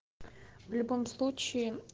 в любом случае